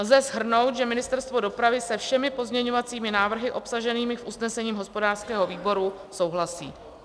Lze shrnout, že Ministerstvo dopravy se všemi pozměňovacími návrhy obsaženými v usnesení hospodářského výboru souhlasí.